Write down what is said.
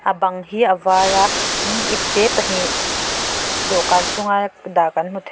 bang hi a var a tin ipte pahnih dawhkan chunga dah kan hmu thei.